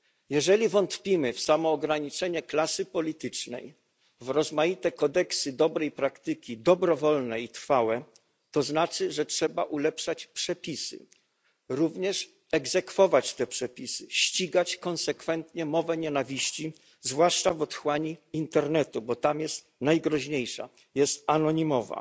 Jeżeli wątpimy w samoograniczenie klasy politycznej, w rozmaite kodeksy dobrej praktyki, dobrowolne i trwałe, to znaczy, że trzeba ulepszać przepisy, również egzekwować te przepisy, ścigać konsekwentnie mowę nienawiści, zwłaszcza w otchłani internetu, bo tam jest najgroźniejsza, jest anonimowa.